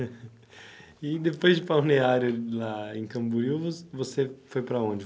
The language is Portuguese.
E depois de Balneário lá em Camboriú, vo você foi para onde?